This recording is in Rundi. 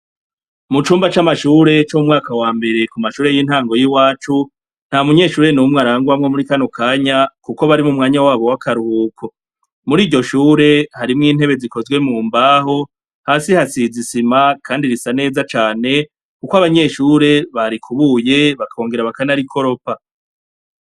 Mu cumba c'amashure co mu mwaka wa mbere ku mashure y'intango yiwacu nta munyeshure n'umwe arangwamwo muri kano kanya, kuko barimo mwanya wabo w'akaruhuko muri iryo shure harimwo intebe zikozwe mu mbaho hasi hasizisima, kandi risa neza cane, kuko abanyeshure barikubuye bakongera bakanari koropa.